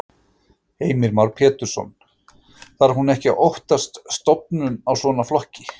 Heimir Már Pétursson: Þarf hún ekki að óttast stofnun á svona flokki?